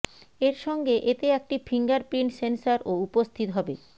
এর সঙ্গে এতে একটি ফিঙ্গারপ্রিন্ট সেন্সর ও উপস্থিত হবে